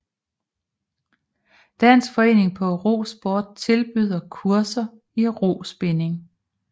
Dansk Forening for Rosport tilbyder kurser i Rospinning